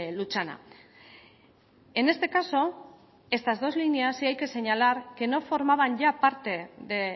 lutxana en este caso estas dos líneas sí hay que señalar que no formaban ya parte de